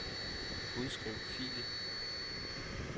Udskriv fil.